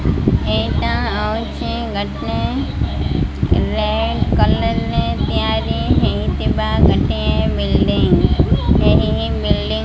ଏଇଟା ହଉଛି ଗୋଟେ ରେଡ୍ କଲର୍ ରେ ତିଆରି ହେଇଥିବା ଗୋଟେ ବିଲଡିଂ ଏହି ବିଲଡିଂ --